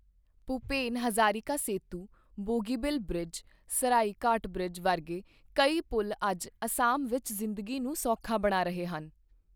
Bhupen Hazarika Setu, Bogibeel bridge, Saraighat bridge ਵਰਗੇ ਕਈ ਪੁਲ਼ ਅੱਜ ਅਸਾਮ ਵਿੱਚ ਜ਼ਿੰਦਗੀ ਨੂੰ ਸੌਖਾ ਬਣਾ ਰਹੇ ਹਨ।